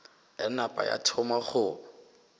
ya napa ya thoma go